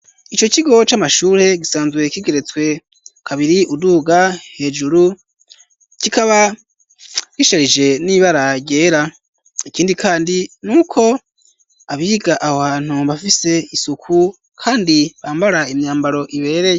Ico kigo c'amashure, gisanzwe kigeretswe kabiri uduga hejuru, kikaba gisharije n'ibara ryera; ikindi kandi ni uko abiga aho hantu bafise isuku, kandi bambara imyambaro ibereye.